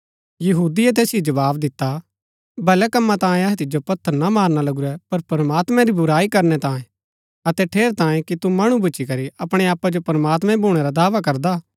यहूदिये तैसिओ जवाव दिता भले कम्मा तांयें अहै तिजो पत्थर ना मारना लगुरै पर प्रमात्मैं री बुराई करनै तांयें अतै ठेरैतांये कि तू मणु भूच्ची करी अपणै आपा जो प्रमात्मां भूणै रा दावा करदा